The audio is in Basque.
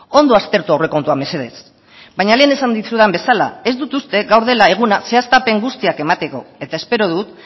ondo aztertu aurrekontua mesedez baina lehen esan dizudan bezala ez dut uste gaur dela eguna zehaztapen guztiak emateko eta espero dut